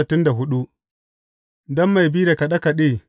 Don mai bi da kaɗe kaɗe.